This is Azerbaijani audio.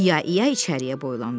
İya-iya içəriyə boylandı.